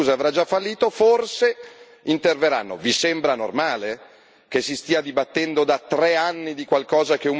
Anzi, forse dopo un anno e mezzo, quando l'azienda italiana sarà già chiusa e avrà già fallito, forse interverranno.